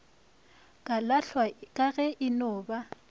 kalahlwa ka ge eno ba